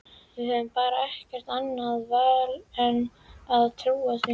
Við höfum bara ekkert annað val en að trúa því.